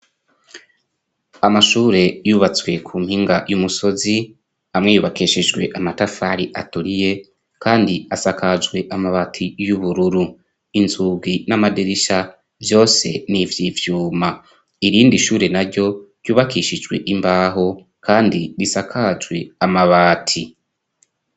Amashure yubatswe ku mpinga y'umusozi amwe yubakishijwe amatafari aturiye kandi asakajwe amabati y'ubururu, inzugi n'amadirisha vyose ni ivyivyuma, irindi ishure naryo ryubakishijwe imbaho kandi risakajwe amabati.